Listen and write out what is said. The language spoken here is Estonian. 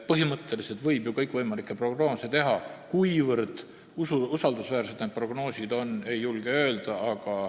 Põhimõtteliselt võib ju kõikvõimalikke prognoose teha, aga ma ei julge öelda, kuivõrd usaldusväärsed need prognoosid on.